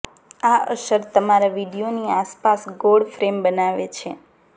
આ અસર તમારા વિડિઓની આસપાસ ગોળ ફ્રેમ બનાવે છે